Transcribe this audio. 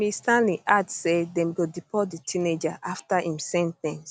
ms stirling add say dem go deport di teenager afta im sen ten ce